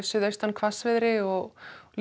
hvassviðri og